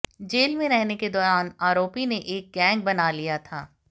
jail में रहने के दौरान आरोपी ने एक गैंग बना लिया था